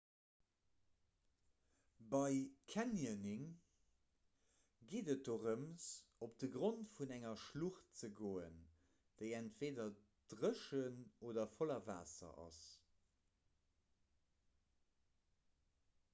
bei canyoning geet et dorëm op de grond vun enger schlucht ze goen déi entweeder dréchen oder voller waasser ass